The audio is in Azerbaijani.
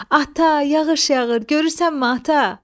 Ata, yağış yağır, görürsənmi, Ata?